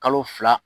Kalo fila